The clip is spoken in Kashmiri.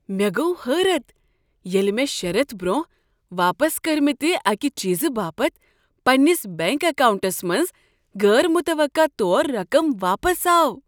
مےٚ گوٚو حٲرت ییٚلہ مےٚ شےٚ ریتھ برٛونٛہہ واپس کٔرِمٕتہِ اکہِ چیزٕ باپت پنٛنس بنٛک اکاونٛٹس منٛز غٲر متوقع طور رقم واپس آو۔